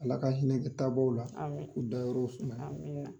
Ala ka hinɛ taabaw la amin k'u dayɔrɔ sumaya amin.